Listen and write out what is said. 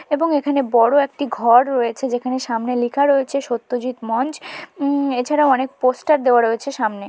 এবং এখানে বড় একটি ঘর রয়েছে যেখানে সামনে লেখা রয়েছে সত্যজিৎ মঞ্চ উম এছাড়া অনেক পোস্টার দেওয়া রয়েছে সামনে।